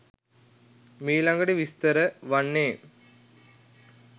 මීළඟට විස්තර වන්නේ